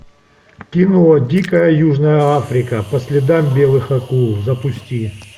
кино дикая южная африка по следам белых акул запусти